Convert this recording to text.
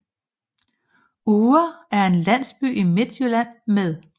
Uhre er en landsby i Midtjylland med